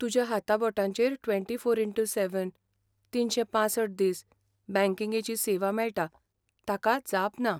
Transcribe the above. तुज्या हाताबोटांचेर twenty four into seven, तीनशे पांसठ दीस बँकिंगेची सेवा मेळटा ताका जाप ना.